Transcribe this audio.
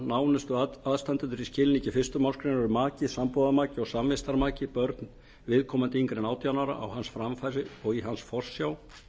nánustu aðstandendur í skilningi fyrstu málsgrein eru maki sambúðarmaki og samvistarmaki börn viðkomandi yngri en átján ára á hans framfæri og í hans forsjá